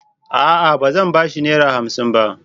A'a! Ba zan ba shi Naira hamsin ba.